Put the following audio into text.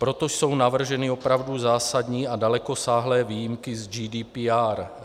Proto jsou navrženy opravdu zásadní a dalekosáhlé výjimky z GDPR.